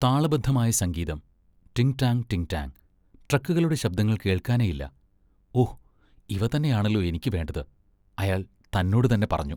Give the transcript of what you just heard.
താളബദ്ധമായ സംഗീതം! ടിം ഡാങ്, ടിം ഡാങ്. ട്രക്കുകളുടെ ശബ്ദങ്ങൾ കേൾക്കാനേയില്ല! ഓ, ഇവ തന്നെയാണല്ലോ എനിക്ക് വേണ്ടത്, അയാൾ തന്നോടുതന്നെ പറഞ്ഞു.